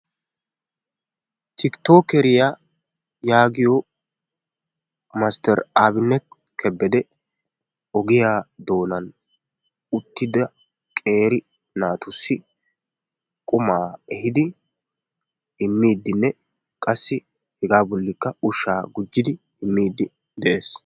Tikittookkeriya yaagiyo Mastteer Aabinnet Kebbedee ogiya doonan uttida qeeri naatussi qumaa ehiidi immiiddinne qassikka hegaa bolli ushshaa gujjidi immiiddi de'ees.